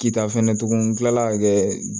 Kita fɛnɛ tugun kilala ka kɛ